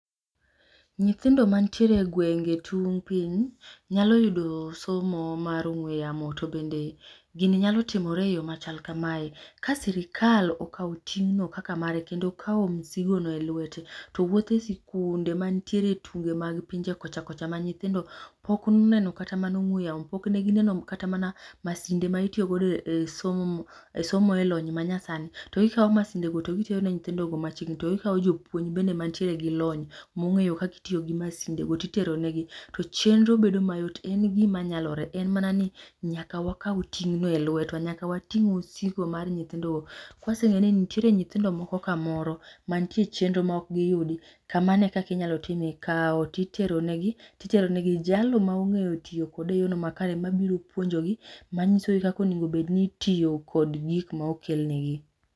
Nyithindo mantiere e gengwe e tung' piny nyalo yudo somo mar ong'we yamo to bende gini nyalo timore eyo machal kamae. Ka sirikal okawo ting'no kaka mare kendo kawo misigono elwete to wuotho e sikunde mantiere e tunge mag pinje kocha kocha ma nyithindo pok oneno kata ong'we yamo pok ne ginenoga kata mana Masinde mai tiyogodo ei somo e lonyno manyasani to gi kawo masindego to gitero ni yithindogo machiegni to gikawo jopuonjgo bende mantiere gi lony mong'eyo kaka itiyogi masindegi to iteronegi to chenro bedo ayot en gima nyalore en manani nyaka Wakaw ting'no e lwetwa nyaka wating' misigo mar nyithindogo. Ka waseng'eyo ni nitiere nyithindo moko kamoro mantie chenro mok giyudi kamano ekaka inyalo timnigi, kawo to iteronegi iteronegi jalno mong'eyo tiyo kode eyorno makare mabiro puonjogi mang'isoge kaka onego bed ni itiyo kod gik ma okelnigigo